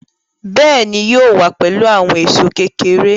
Béèni, yóò wá pẹ̀lú àwọn èṣó kékeré